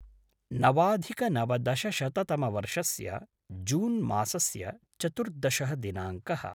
नवाधिकनवदशशततमवर्षस्य June मासस्य चतुर्दशः दिनाङ्कः